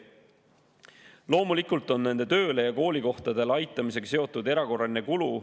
Loomulikult on nende tööle ja koolikohtadele aitamisega seotud erakorraline kulu.